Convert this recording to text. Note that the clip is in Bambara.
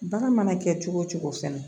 Baara mana kɛ cogo o cogo fɛnɛ